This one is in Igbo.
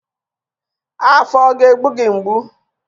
Afọ ọ ga-egbu gị mgbu?